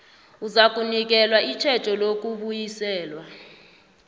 uzakunikelwa itjhejo lokubuyisela